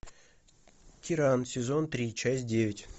тиран сезон три часть девять